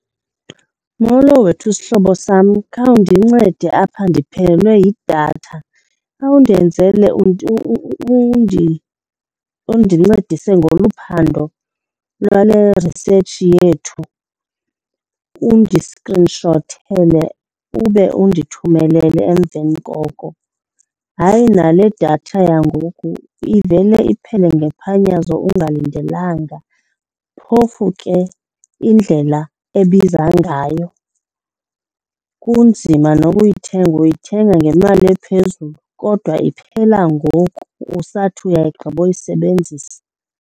Molo wethu, sihlobo sam, khawundincede apha ndiphelelwe yidatha. Khawundenzele undincedise ngolu phando lwale research yethu undiskrinshothele ube undithumelele emveni koko. Hayi, nale datha yangoku ivele iphele ngephanyazo ungalindelanga, phofu ke indlela ebiza ngayo. Kunzima noba uyithenge, uyithenga ngemali ephezulu kodwa iphela ngoku usathi uyayigqiboyisebenzisa.